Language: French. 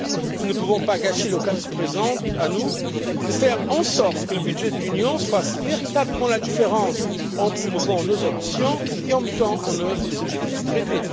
Nous ne pouvons pas gâcher l'occasion qui se présente à nous de faire en sorte que le budget de l'Union fasse véritablement la différence en promouvant nos ambitions et en mettant en œuvre les objectifs du traité.